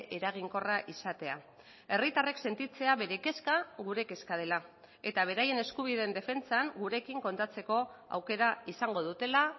eraginkorra izatea herritarrek sentitzea bere kezka gure kezka dela eta beraien eskubideen defentsan gurekin kontatzeko aukera izango dutela